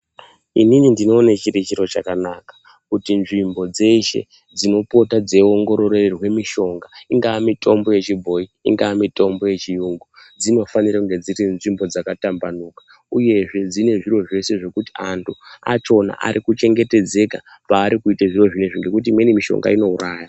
Inini ndinoona chiri chiro chakanaka kuti nzvimbo dzese dzinopota dzeiongororwa anhu mishonga ingava mishonga yechibhoyi ingava mishonga yechivantu dzinofanira kunge dziri nzvimbo dzakatambuka uyezve dzinonzvimbo dzekuti antu acho arikuchengetedzeka nezviro zvinezvi nekuti mishonga iyi inouraya.